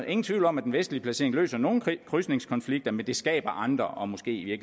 ingen tvivl om at den vestlige placering løser nogle krydsningskonflikter men den skaber andre og måske i